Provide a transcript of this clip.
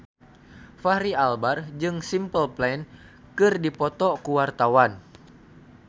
Fachri Albar jeung Simple Plan keur dipoto ku wartawan